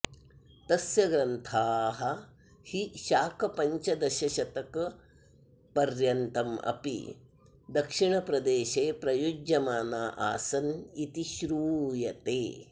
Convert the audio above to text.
तस्य ग्रन्था हि शाकपञ्चदशशतकपर्यन्तमपि दक्षिणप्रदेशे प्रयुज्यमाना आसन्निति श्रूयते